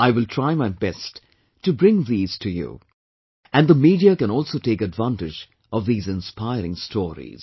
I will try my best to bring these to you; and the media can also take advantage of these inspiring stories